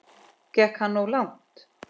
Gekk hann of langt?